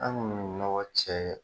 An kɔni mi nɔgɔ cɛ ye